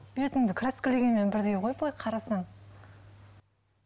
бетіңді краскілегенмен бірдей ғой былай қарасаң